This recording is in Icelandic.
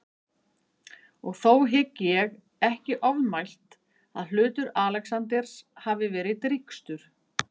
Og þó hygg ég ekki ofmælt, að hlutur Alexanders hafi verið drýgstur.